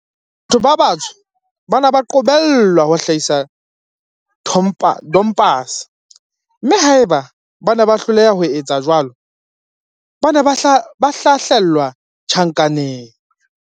Batho ba batsho ba ne ba qobellwa ho hlahisa tompase, mme haeba bane ba hloleha ho etsa jwalo, ba ne ba hlahlelwa tjhankaneng.